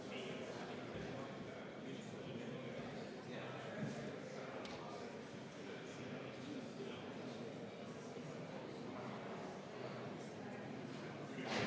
Me ei saa siiski välistada, et ettekandja pidas silmas Riina Sikkutit.